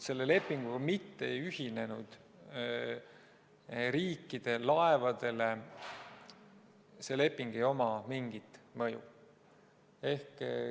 Selle lepinguga mitte ühinenud riikide laevadele ei ole sellel lepingul mingit mõju.